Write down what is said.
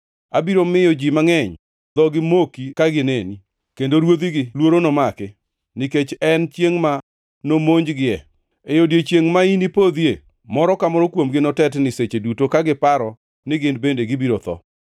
Abiro miyo ji mangʼeny dhogi moki ka gineni, kendo ruodhigi luoro nomaki, nikech en chiengʼ ma nomonjgie. E odiechiengʼ ma inipodhie, moro ka moro kuomgi notetni, seche duto ka giparo ni gin bende gibiro tho.